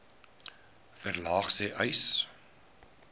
verlaag sê uys